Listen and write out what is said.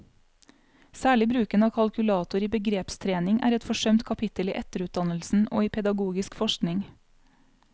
Særlig bruken av kalkulator i begrepstrening er et forsømt kapittel i etterutdannelsen og i pedagogisk forskning.